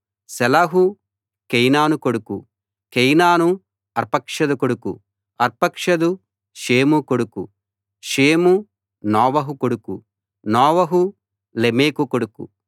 షేలహు కేయినాను కొడుకు కేయినాను అర్పక్షదు కొడుకు అర్పక్షదు షేము కొడుకు షేము నోవహు కొడుకు నోవహు లెమెకు కొడుకు